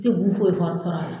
Se k'u foyi fɔ a bi sɔrɔ a la ye